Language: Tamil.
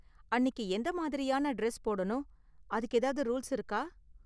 அன்னிக்கு எந்த மாதிரியான டிரெஸ் போடணும், அதுக்கு ஏதாவது ரூல்ஸ் இருக்கா?